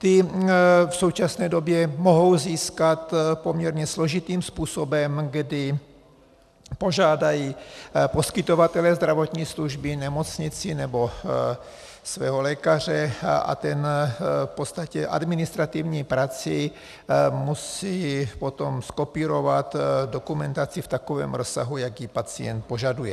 Ty v současné době mohou získat poměrně složitým způsobem, kdy požádají poskytovatele zdravotní služby, nemocnici nebo svého lékaře, a ten v podstatě administrativní prací musí potom zkopírovat dokumentaci v takovém rozsahu, jaký pacient požaduje.